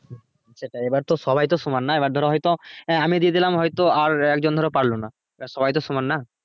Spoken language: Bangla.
সেটাই এবার তো সবাই তো সমান নয় এবার ধরো হয়তো হ্যাঁ আমি দিয়ে দিলাম হয় তো আর এক জন ধরো পারলো না তা সবাই তো সমান না